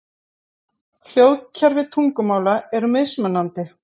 Hljóðkerfi tungumála eru mismunandi.